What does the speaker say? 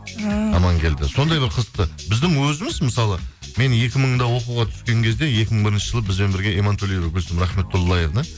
ііі амангелді сондай бір қызықты біздің өзіміз мысалы мен екі мыңда оқуға түскен кезде екі мың бірінші жылы бізбен бірге имантөлеева гүлсім рахметтулаевна